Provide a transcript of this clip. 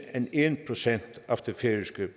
end en procent af det færøske